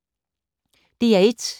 DR1